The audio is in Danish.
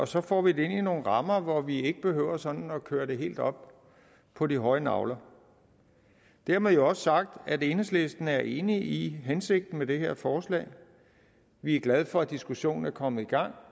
så får vi det ind i nogle rammer hvor vi ikke behøver sådan at køre det helt op på de høje nagler dermed jo også sagt at enhedslisten er enig i hensigten med det her forslag vi er glade for at diskussionen er kommet i gang